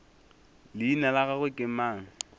leina la gagwe ke mang